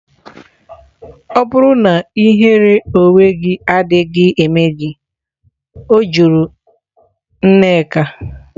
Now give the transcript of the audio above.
Ọ̀ bụ na ihere onwe gị adịghị eme gị? Ọ jụrụ nneka.